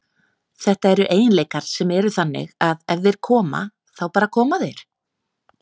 Þetta eru eiginleikar sem eru þannig að ef þeir koma, þá bara koma þeir.